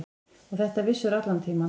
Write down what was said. Og þetta vissirðu allan tímann.